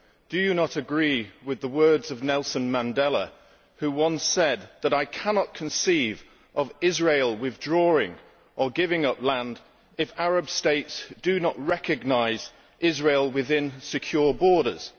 Do you not agree with the words of Nelson Mandela, who once said that he could not conceive of Israel withdrawing or giving up land if Arab states did not recognise Israel within secure borders?